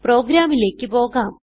പ്രോഗ്രാമിലേക്ക് പോകാം